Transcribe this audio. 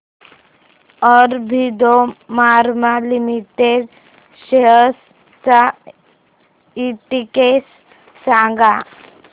Aurobindo pharma limited shares चा index सांगा